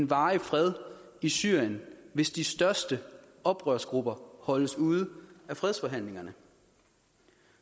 varig fred i syrien hvis de største oprørsgrupper holdes ude af fredsforhandlingerne